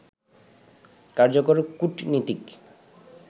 কার্যকর কূটনীতিক